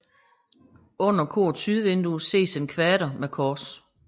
Under korets sydvindue ses en kvader med kors